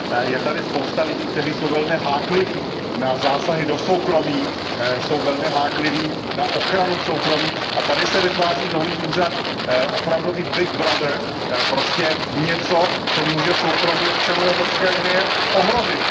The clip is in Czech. Je tady spousta lidí, kteří jsou velmi hákliví na zásahy do soukromí, jsou velmi hákliví na ochranu soukromí, a tady se vytváří nový úřad, opravdový big brother, prostě něco, co může soukromí občanů EU ohrozit.